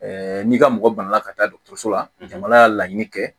n'i ka mɔgɔ bana la ka taa dɔgɔtɔrɔso la jamana y'a laɲini kɛ